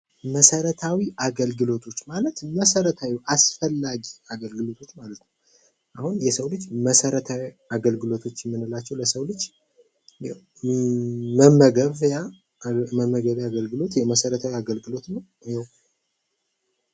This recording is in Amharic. መሠረታዊ አገልግሎቶች ማለት መሰረትዊ አስፈላጊ ማለት ነው ለሰው ልጅ መሰረታዊ የአገልግሎቶች የምን ናቸው ለምሳሌ መመገብያ መሰረታዊ የአገልግሎት ነው።